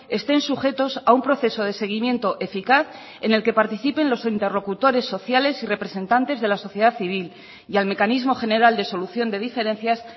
estén sujetos a un proceso de seguimiento eficaz en el que participen los interlocutores sociales y representantes de la sociedad civil y al mecanismo general de solución de diferencias